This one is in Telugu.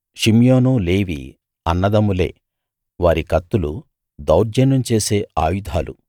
షిమ్యోను లేవి అన్నదమ్ములే వారి కత్తులు దౌర్జన్యం చేసే ఆయుధాలు